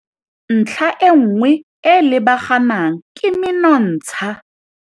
Ntlha e nngwe e e lebaganang ke menontsha.